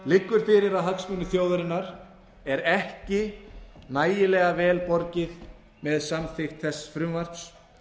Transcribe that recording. liggur fyrir að hagsmunum þjóðarinnar er ekki nægilega vel borgið með samþykkt þess frumvarps